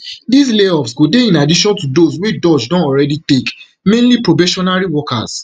dis layoffs go dey in addition to those wey doge don already take mainly probationary workers